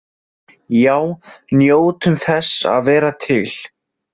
Já, njótum þess að vera til!